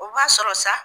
O b'a sɔrɔ sa